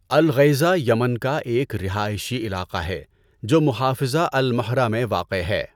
الغیضہ Yemen کا ایک رہائشی علاقہ ہے جو محافظہ المہرہ میں واقع ہے۔